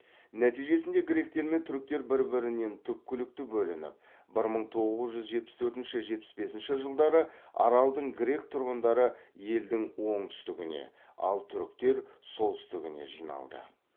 нәтижесінде гректер мен түріктер бір бірінен түпкілікті бөлініп бір мың тоғыз жүз жетпіс төртінші жетпіс бесінші жылдары аралдың грек тұрғындары елдің оңтүстігіне ал түріктер солтүстігіне жиналды